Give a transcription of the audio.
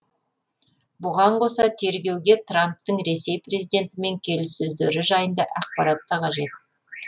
бұған қоса тергеуге трамптың ресей президентімен келіссөздері жайында ақпарат та қажет